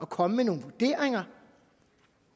komme med nogle vurderinger